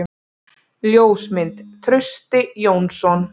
Ljósmynd: Trausti Jónsson.